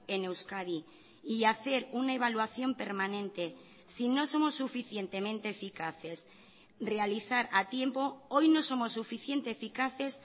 en euskadi y hacer una evaluación permanente sí no somos suficientemente eficaces realizar a tiempo hoy no somos suficiente eficaces